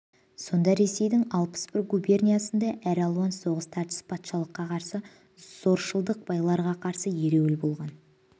сонда ресейдің алпыс бір губерниясында әр алуан соғыс-тартыс патшалыққа қарсы зорлықшыл байларға қарсы ереуіл болған